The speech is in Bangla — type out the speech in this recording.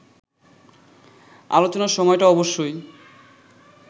আলোচনার সময়টা অবশ্যই